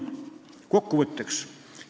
Kokkuvõtteks.